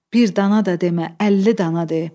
Bir dana da demə, əlli dana de.